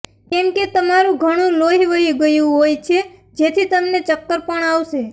કેમકે તમારું ઘણું લોહી વહી ગયું હોઈ છે જેથી તમને ચક્કર પણ આવશે